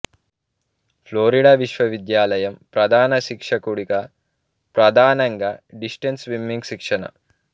Florida విశ్వవిద్యాలయం ప్రధాన శిక్షకుడుగా ప్రధానంగా డిస్టెంస్ స్విమ్మింగ్ శిక్షణ